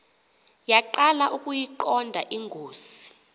yaqala ukuyiqonda ingozi